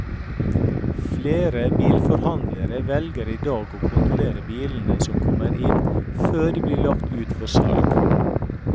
Flere bilforhandlere velger i dag å kontrollere biler som kommer inn, før de blir lagt ut for salg.